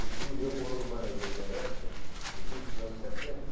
Um tio meu morou no Maranhão uma época, no início dos anos setenta.